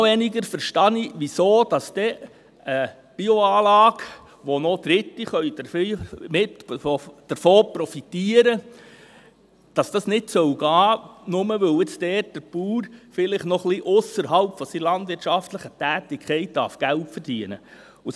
Noch weniger verstehe ich, weshalb dies bei einer Biogasanlage, von der noch Dritte profitieren können, nicht gehen soll – nur, weil dort der Bauer vielleicht noch ein bisschen ausserhalb seiner landwirtschaftlichen Tätigkeit Geld verdienen darf.